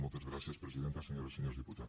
moltes gràcies presidenta senyores i senyors diputats